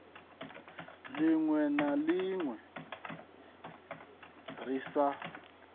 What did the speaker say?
linwe na linwe ri sa